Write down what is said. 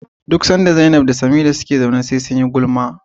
duk sanda Zainab da Samira suka zauna SE sunyi gulma